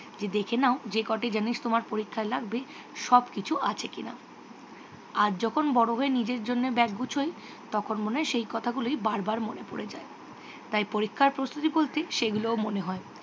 যে দেখে নাজেজে কটি জিনিস তোমার পরিক্ষায় লাগবে সব কিছু আছে কিনা। আজ যখন বড় হয়ে নিজের জন্য ব্যাগ গুছোই তখন মনে হয় সেই কথাগুলোই বারবার মনে পরে যায়। তাই পরীক্ষার প্রস্তুতি বলতে সেইগুলোও মনে হয়।